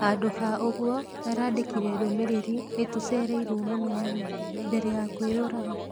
Handũ ha ũguo arandĩkire ndũmĩrĩri 'nĩtũcereirwo mũno mami ' mbere ya kwĩyũraga.